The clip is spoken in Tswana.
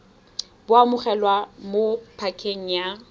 bo amogelwa mo pakeng ya